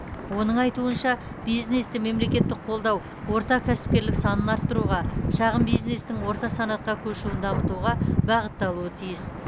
оның айтуынша бизнесті мемлекеттік қолдау орта кәсіпкерлік санын арттыруға шағын бизнестің орта санатқа көшуін дамытуға бағытталуы тиіс